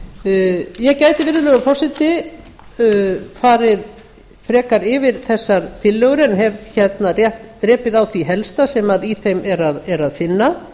undir ég gæti virðulegur forseti farið frekar yfir þessar tillögur en hef rétt drepið á það helsta sem í þeim er að finna